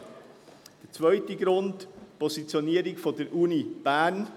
Der zweite Grund ist die Positionierung der Universität Bern.